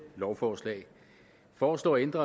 lovforslag foreslår at ændre